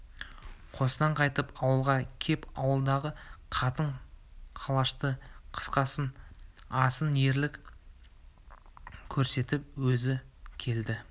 қостан қайтып ауылға кеп ауылдағы қатын-қалашты қысқасын асан ерлік көрсетіп өзі келді